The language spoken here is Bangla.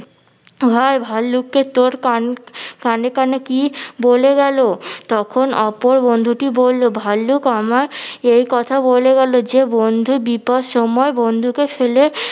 ভাই ভাল্লুকটি তোর কান কানে কানে কি বলে গেলো? তখন অপর বন্ধুটি বললো ভাল্লুক আমায় একথা বলে গেলো যে বন্ধু বিপদ সময় বন্ধুকে ফেলে